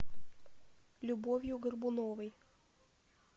любовью горбуновой